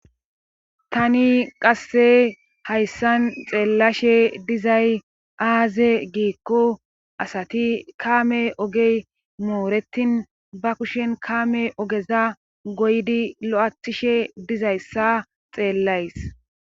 tani qasse hayssan xeellashe dizay aaze giikko asati kaame ogey mooretin ba kushen kaame ogeza goydi lo7athishe dizayssa xeellays